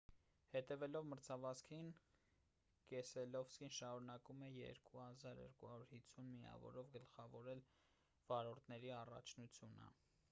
հետևելով մրցավազքին կեսելովսկին շարունակում է 2 250 միավորով գլխավորել վարորդների առաջնությունը